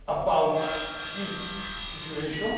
about his situation.